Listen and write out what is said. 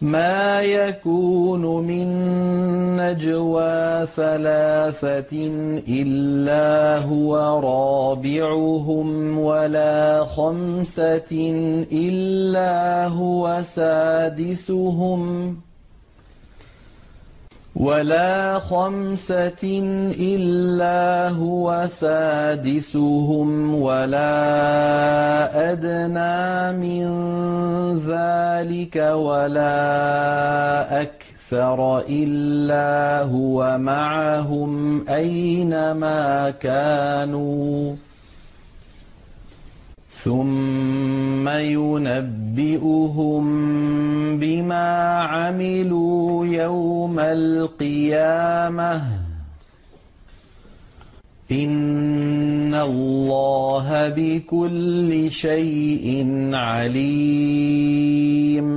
مَا يَكُونُ مِن نَّجْوَىٰ ثَلَاثَةٍ إِلَّا هُوَ رَابِعُهُمْ وَلَا خَمْسَةٍ إِلَّا هُوَ سَادِسُهُمْ وَلَا أَدْنَىٰ مِن ذَٰلِكَ وَلَا أَكْثَرَ إِلَّا هُوَ مَعَهُمْ أَيْنَ مَا كَانُوا ۖ ثُمَّ يُنَبِّئُهُم بِمَا عَمِلُوا يَوْمَ الْقِيَامَةِ ۚ إِنَّ اللَّهَ بِكُلِّ شَيْءٍ عَلِيمٌ